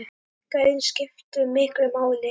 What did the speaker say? Gæðin skiptu miklu máli.